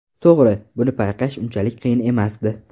To‘g‘ri, buni payqash unchalik qiyin emasdi.